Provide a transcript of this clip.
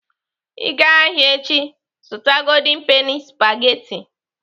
Ị gaa ahịa echi, zụta golden penny spageti.